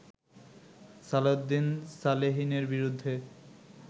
সালাউদ্দিন সালেহীনের বিরুদ্ধে